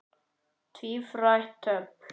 Tvírætt dobl.